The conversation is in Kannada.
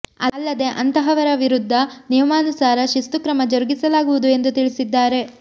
ಅಲ್ಲದೆ ಅಂತಹವರ ವಿರುದ್ದ ನಿಯಮಾನುಸಾರ ಶಿಸ್ತು ಕ್ರಮ ಜರುಗಿಸಲಾಗುವುದು ಎಂದು ತಿಳಿಸಿದ್ದಾರೆ